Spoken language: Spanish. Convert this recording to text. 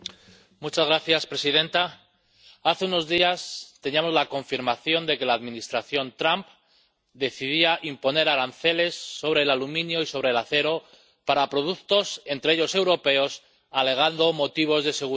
Señora presidenta, hace unos días teníamos la confirmación de que la Administración Trump decidía imponer aranceles sobre el aluminio y sobre el acero, también sobre los europeos, alegando motivos de seguridad.